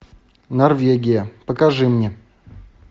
норвегия покажи мне